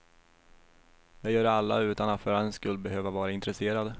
Det gör alla utan att för den skull behöva vara intresserad.